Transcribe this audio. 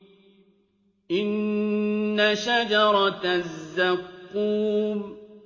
إِنَّ شَجَرَتَ الزَّقُّومِ